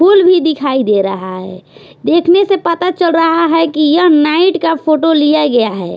फूल भी दिखाई दे रहा है देखने से पता चल रहा है कि यह नाइट का फोटो लिया गया है।